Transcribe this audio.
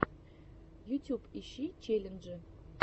ютюб ищи челленджи